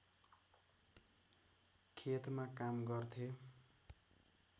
खेतमा काम गर्थे